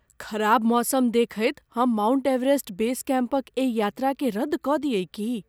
ख़राब मौसम देखैत हम माउंट एवरेस्ट बेस कैम्पक एहि यात्राकेँ रद्द कऽ दियै की?